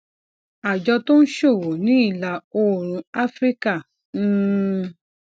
àjọ tó ń ṣòwò ní ìlà oòrùn áfíríkà um